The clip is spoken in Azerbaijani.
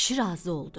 Kişi razı oldu.